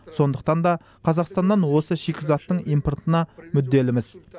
сондықтан да қазақстаннан осы шикізаттың импортына мүдделіміз